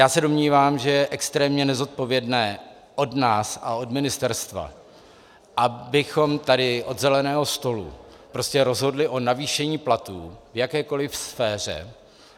Já se domnívám, že je extrémně nezodpovědné od nás a od ministerstva, abychom tady od zeleného stolu prostě rozhodli o navýšení platů v jakékoliv sféře.